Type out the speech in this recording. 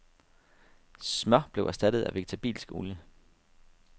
Smør blev erstattet af vegetabilsk olie.